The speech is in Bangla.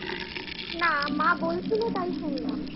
না মা বলছিল তাই শুনলাম